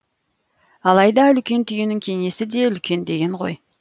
алайда үлкен түйенің кеңесі де үлкен деген ғой